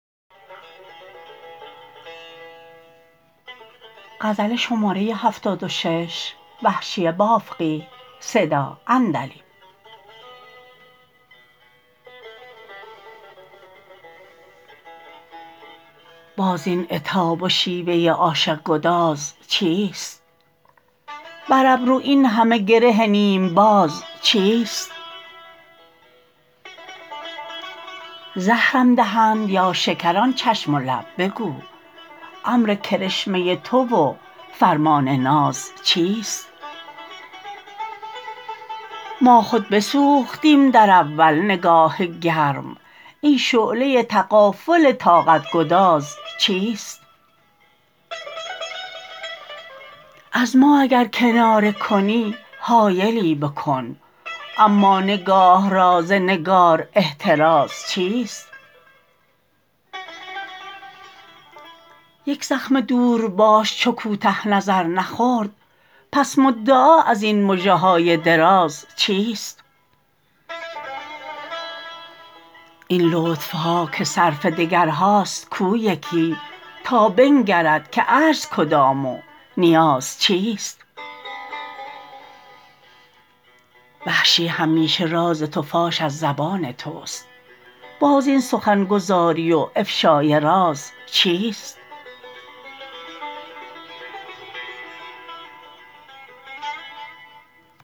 باز این عتاب و شیوه عاشق گداز چیست بر ابرو این همه گره نیم باز چیست زهرم دهند یا شکر آن چشم و لب بگو امر کرشمه تو و فرمان ناز چیست ما خود بسوختیم در اول نگاه گرم این شعله تغافل طاقت گداز چیست از ما اگر کناره کنی حایلی بکن اما نگاه را ز نگار احتراز چیست یک زخم دورباش چو کوته نظر نخورد پس مدعا از این مژه های دراز چیست این لطف ها که صرف دگرها ست کو یکی تا بنگرد که عجز کدام و نیاز چیست وحشی همیشه راز تو فاش از زبان تو ست باز این سخن گزاری و افشای راز چیست